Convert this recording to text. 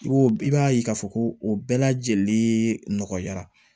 I b'o i b'a ye k'a fɔ ko o bɛɛ lajɛlen nɔgɔya